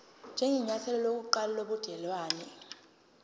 njengenyathelo lokuqala lobudelwane